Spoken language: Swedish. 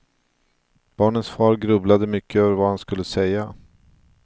Barnens far grubblade mycket över vad han skulle säga.